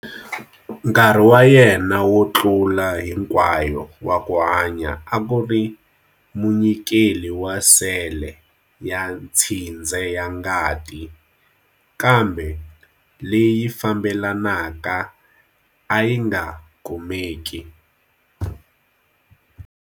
Nkarhi wa yena wo tlula hinkwayo wa ku hanya a ku ri munyikeli wa sele ya tshindze ya ngati, kambe leyi fambelanaka a yi nga kumeki.